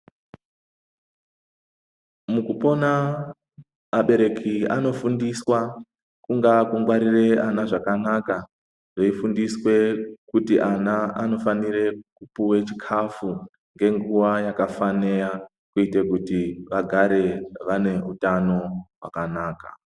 Mukupona abereki anofundiswa kungaa kungwarire vana zvakanaka veifundiswa kuti vana vanofane kupuwe chikafu ngenguwa yakafanira kuite kuti vagare vane hutano hwakanaka